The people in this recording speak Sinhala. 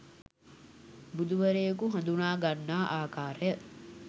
බුදුවරයකු හඳුනාගන්නා ආකාරය